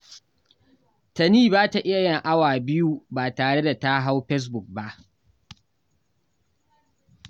Tani ba ta iya yin awa biyu ba tare da ta hau fesbuk ba